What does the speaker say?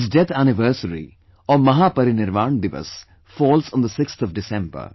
His death anniversary or mahaparirvan divas falls on 6th December